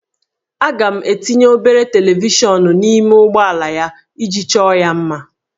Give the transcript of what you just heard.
Aga m etinye obere televishọnụ n'ime ụgbọala ya iji chọọ ya mma